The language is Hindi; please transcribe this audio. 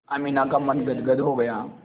अमीना का मन गदगद हो गया